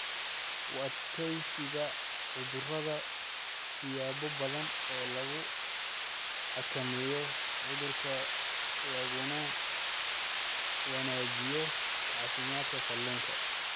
U adkaysiga Cudurada Siyaabo badan oo lagu xakameeyo cudurka laguna wanaajiyo caafimaadka kalluunka.